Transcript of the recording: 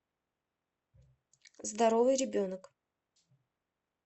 здоровый ребенок